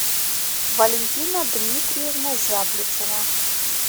валентина дмитриевна зяблицева